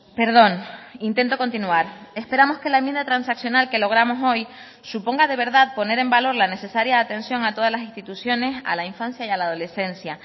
perdón intento continuar esperamos que la enmienda transaccional que logramos hoy suponga de verdad poner en valor la necesaria atención a todas las instituciones a la infancia y a la adolescencia